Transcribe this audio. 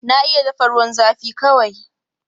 Na iya dafa ruwan zafi kawai.